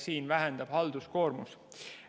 Sellega väheneb halduskoormus.